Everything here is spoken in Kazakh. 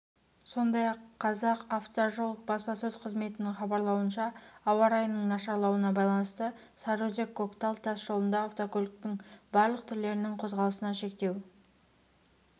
сондай-ақ казақавтожол баспасөз-қызметінің хабарлауынша ауа райының нашарлауына байланысты сарыөзек-коктал тас жолында автокөліктің барлық түрлерінің қозғалысына шектеу